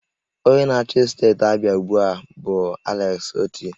Onye na-achị steeti Abịa ugbu a bụ Alex Oti